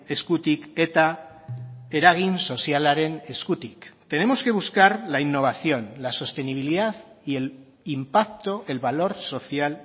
eskutik eta eragin sozialaren eskutik tenemos que buscar la innovación la sostenibilidad y el impacto el valor social